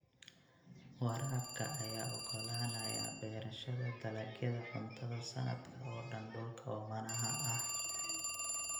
Waraabka ayaa ogolaanaya beerashada dalagyada cuntada sanadka oo dhan dhulka oomanaha ah.